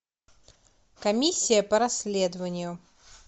комиссия по расследованию